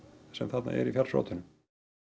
sem þarna er í fjallsrótum